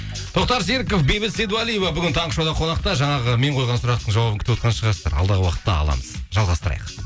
тоқтар серіков бейбіт сейдуалиева бүгін таңғы шоуда қонақта жаңағы мен қойған сұрақтың жауабын күтіп отырған шығарсыздар алдағы уақытты аламыз жалғастырайық